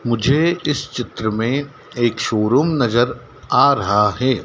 मुझे इस चित्र में एक शोरूम नजर आ रहा है।